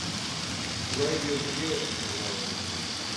құдайбердіге бұ да ұнады